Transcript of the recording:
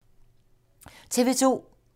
TV 2